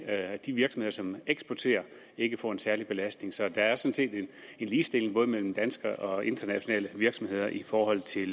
at de virksomheder som eksporterer ikke får en særlig belastning så der er sådan set en ligestilling mellem danske og internationale virksomheder i forhold til